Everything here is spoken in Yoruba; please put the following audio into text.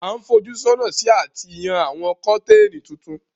A n fojú sọ́nà si àti yán àwon curtain tuntun